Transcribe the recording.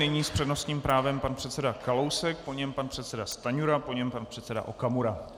Nyní s přednostním právem pan předseda Kalousek, po něm pan předseda Stanjura, po něm pan předseda Okamura.